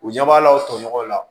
U ɲɛ b'a la o tɔɲɔgɔnw la